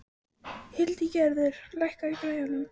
Hildigerður, lækkaðu í græjunum.